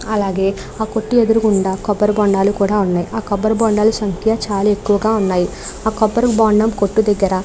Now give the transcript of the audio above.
అలాగే ఆ కొట్టు ఎదురుగా కూడా కొబ్బరిబొండాలు కూడా ఉన్నాయి ఆ కొబ్బరిబొండాలు సంఖ్య చాల ఎక్కువుగా ఉంది ఆ కొబ్బరిబొండం కొట్టు దగ్గర --